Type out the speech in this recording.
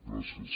gràcies